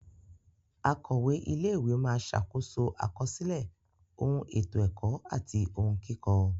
Akọ̀we ilé ìwé máa ṣàkóso àkọsílẹ̀ ohun ètò ẹ̀kọ́ àti ohun kíkọ.